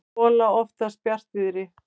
gola oftast bjartviðri.